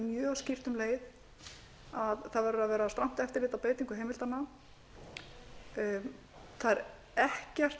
mjög skýrt um leið að það verður að vera strangt eftirlit á beitingu heimildanna það er ekkert að